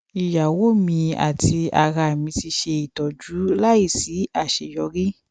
iyawo mi ati ara mi ti ṣe itọju laisi aṣeyọri